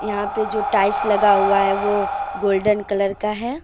यहां पे जो टाइल्स लगा हुआ है वो गोल्डन कलर का है।